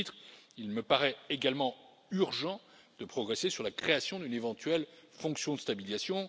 Et à ce titre, il me paraît également urgent de progresser sur la création d'une éventuelle fonction de stabilisation.